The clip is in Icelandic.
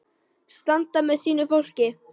Standa með sínu fólki.